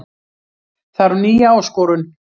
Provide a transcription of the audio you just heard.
Þarf nýja áskorun